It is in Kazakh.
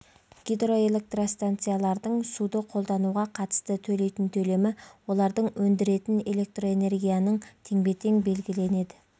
гидроэлектростанциялардың суды қолдануға қатысты төлейтін төлемі олар өндіретін электроэнергияның теңбе-тең белгіленеді